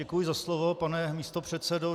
Děkuji za slovo, pane místopředsedo.